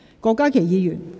郭家麒議員，請發言。